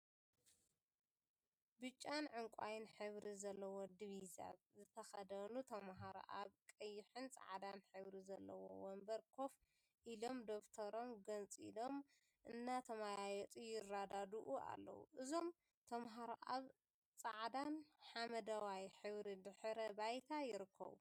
ብጫን ዕንቋይን ሕብሪ ዘለዎ ድቪዛ ዝተከደኑ ተምሃሮ አብ ቀይሕን ፃዕዳን ሕብሪ ዘለዎ ወንበር ኮፍ ኢሎም ደፍተሮም ገንፂሎም እናተወያዩ ይረዳድኡ አለው፡፡ እዞም ተምሃሮ አብ ፃዕዳን ሓመደዋይ ሕብሪ ድሕረ ባይታ ይርከቡ፡፡